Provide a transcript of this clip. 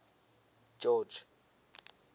george